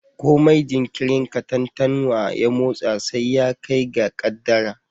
Komai jinkirin katantanwa ya motsa sai ya kai ga kaddara